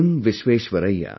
Visvesvaraya